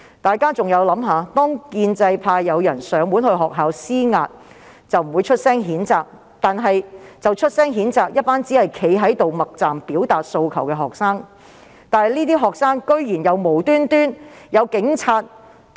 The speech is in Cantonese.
大家可以想想，當建制派人士前往學校施壓，局方未有予以譴責，但它卻譴責一群透過默站表達訴求的學生，而這些學生亦遭警察無理毆打。